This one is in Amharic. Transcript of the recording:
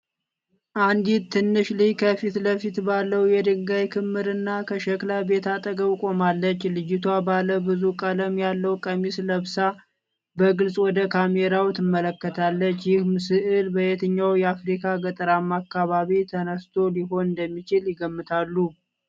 አንዲት ትንሽ ልጅ ከፊት ለፊት ባለው የድንጋይ ክምርና ከሸክላ ቤት አጠገብ ቆማለች። ልጅቷ ባለ ብዙ ቀለም ያለው ቀሚስ ለብሳ በግልጽ ወደ ካሜራው ትመለከታለች። ይህ ሥዕል በየትኛው የአፍሪካ ገጠራማ አካባቢ ተነስቶ ሊሆን እንደሚችል ይገምታሉ?